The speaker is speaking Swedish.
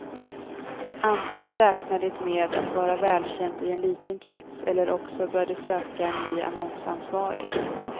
Antingen räknar det med att vara välkänt i en liten krets eller också bör det söka ny annonsansvarig.